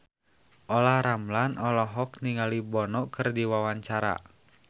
Olla Ramlan olohok ningali Bono keur diwawancara